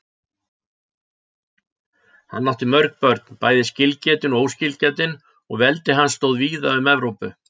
Hann átti mörg börn, bæði skilgetin og óskilgetin, og veldi hans stóð víða um Evrópu.